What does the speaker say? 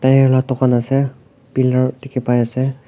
tire laga dukan ase pillar dekhi pai ase.